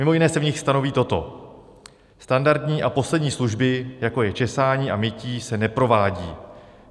Mimo jiné se v nich stanoví toto: Standardní a poslední služby, jako je česání a mytí, se neprovádí.